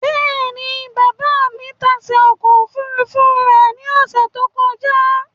Bẹ́ẹ̀ni, baba mi tase ọkọ ofurufu rẹ ni ọsẹ to kọja